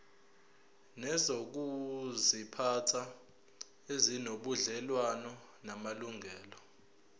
nezokuziphatha ezinobudlelwano namalungelo